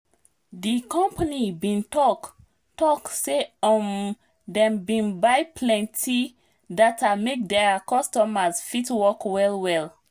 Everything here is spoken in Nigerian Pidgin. di company bin talk talk say um dem bin dey buy plenti data make their workers fit work well well